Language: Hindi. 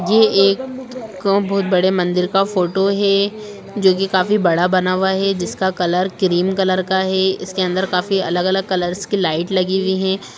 येह एक बोहोत बड़े मंदिर का फोटो हैं जोकि काफी बड़ा बना हुआ हैं जिसका कलर क्रीम कलर का हैं इसके अंदर काफी अलग-अलग कलर्स की लाइट लगी हुई हैं।